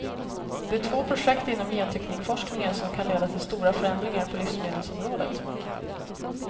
Det är två projekt inom genteknikforskningen som kan leda till stora förändringar på livsmedelsområdet.